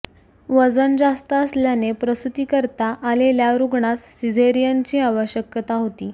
वजन जास्त असल्याने प्रसुतीकरिता आलेल्या रुग्णास सिझेरीयनची आवश्यकता होती